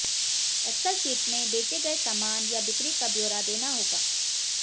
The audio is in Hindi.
एक्सल शीट में बेचे गए सामान या बिक्री का ब्योरा देना होगा